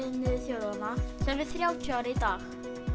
þjóðanna sem er þrjátíu ára í dag